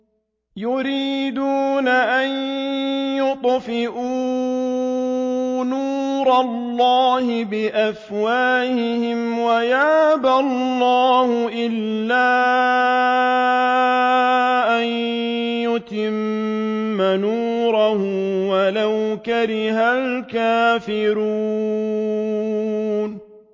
يُرِيدُونَ أَن يُطْفِئُوا نُورَ اللَّهِ بِأَفْوَاهِهِمْ وَيَأْبَى اللَّهُ إِلَّا أَن يُتِمَّ نُورَهُ وَلَوْ كَرِهَ الْكَافِرُونَ